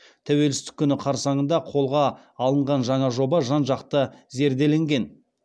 тәуелсіздік күні қарсаңында қолға алынған жаңа жоба жан жақты зерделенген